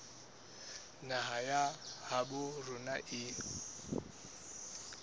naha ya habo rona e